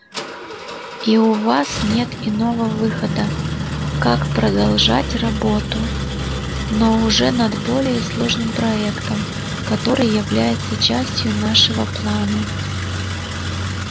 и у вас нет иного выхода как продолжать работу но уже над более сложным проектом который является частью нашего плана